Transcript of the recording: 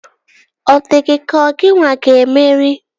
Ọ dị gị ka ọ gịnwa ga-emeri?